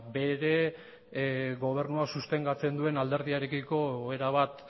baita ere gobernua sostengatzen duen alderdiarekiko erabat